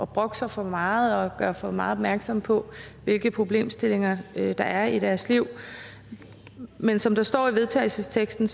brokke sig for meget og gøre for meget opmærksom på hvilke problemstillinger der er i deres liv men som der står i vedtagelsesteksten